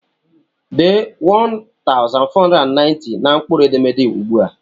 Dee 1490 na mkpụrụ edemede ugbu!